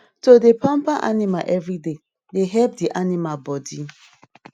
to dey pamper animal every day dey help di animal body